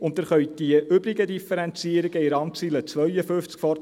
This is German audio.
Sie können die übrigen Differenzierungen in der Randziffer 52 ff.